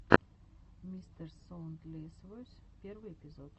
мистерсоундлесвойс первый эпизод